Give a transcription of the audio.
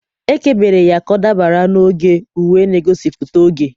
Ekebere ya ka ọ dabara n'oge, uwe na-egosipụta oge.